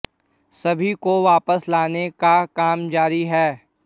सभी को वापस लाने का काम जारी है